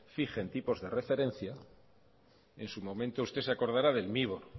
fijen tipos de referencia en su momento usted se acordará del mibor